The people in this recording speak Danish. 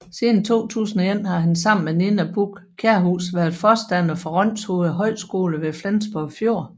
Siden 2001 har han sammen med Nina Buch Kjærhus været forstander for Rønshoved Højskole ved Flensborg Fjord